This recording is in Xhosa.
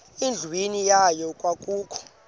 endlwini yayo kwakukho